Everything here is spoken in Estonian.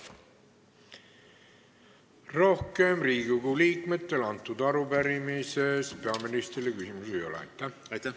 Rohkem Riigikogu liikmetel selle arupärimise kohta peaministrile küsimusi ei ole.